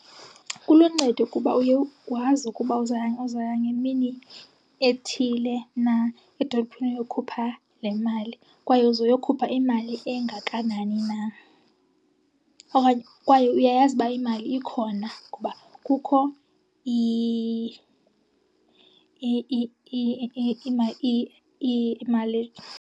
Kuluncedo kuba uye wazi ukuba uzawuya ngemini ethile na edolophini uyokhupha le mali kwaye uzoyokhupha imali engakanani na, okanye kwaye uyayazi uba imali ikhona kuba kukho imali .